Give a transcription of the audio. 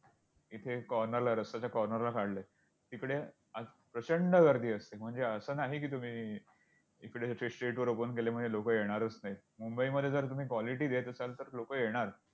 इथे corner ला रस्त्याच्या corner ला काढलंय, तिकडे प्रचंड गर्दी असते. म्हणजे असं नाही की तुम्ही इकडे street वर open केल्यामुळे म्हणजे लोकं येणारच नाहीत. मुंबईमध्ये जर तुम्ही quality देत असाल तर लोकं येणार!